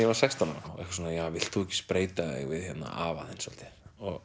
var sextán ára vilt þú ekki spreyta þig við afa þinn svolítið